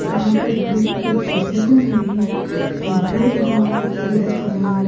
यहां पे लोहे की कुछ चीजें बन रही हैं लोहे लोहा इर्दगिर्द परा हुआ --